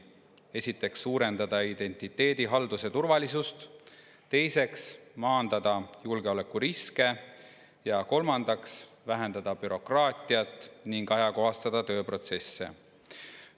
Esiteks suurendada identiteedihalduse turvalisust, teiseks maandada julgeolekuriske ja kolmandaks vähendada bürokraatiat ning ajakohastada tööprotsesse.